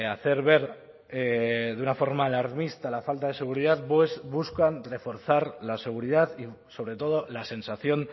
hacer ver de una forma alarmista la falta de seguridad buscan reforzar la seguridad y sobre todo la sensación